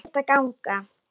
Ekkert að gagni.